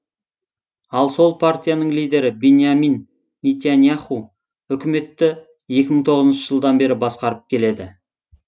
ал сол партияның лидері биньямин нетаньяху үкіметті екі мың тоғызыншы жылдан бері басқарып келеді